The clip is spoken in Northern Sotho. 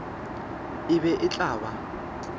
e be e tla ba